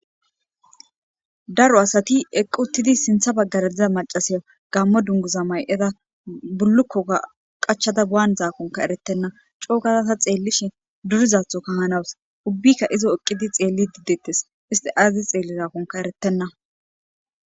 Daro asati eqquuttidi sintha baggaradiza macasiya gammo dunguza may7eda bullukkoga qachada waanizaakonka eretenna cookazasa xeellishi durizatho kahanawus ubbikka izo eqqidi xeelli diddettes isti azazi xeelli zaakonka eretenna.